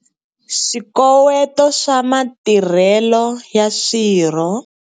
Swikoweto swa matirhelo ya swirho.